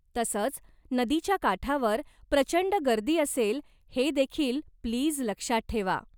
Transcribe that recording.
तसंच, नदीच्या काठावर प्रचंड गर्दी असेल हे देखील प्लीज लक्षात ठेवा.